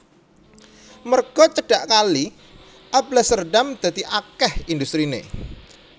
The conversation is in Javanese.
Merga cedhak kali Alblasserdam dadi akèh industriné